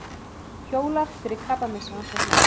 Hjólar fyrir krabbameinsrannsóknir